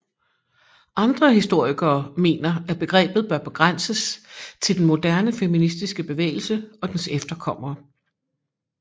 Andre historikere mener at begrebet bør begrænses til den moderne feministiske bevægelse og dens efterkommere